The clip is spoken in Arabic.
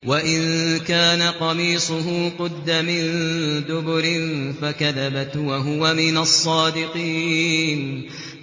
وَإِن كَانَ قَمِيصُهُ قُدَّ مِن دُبُرٍ فَكَذَبَتْ وَهُوَ مِنَ الصَّادِقِينَ